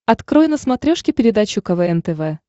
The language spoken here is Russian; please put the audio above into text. открой на смотрешке передачу квн тв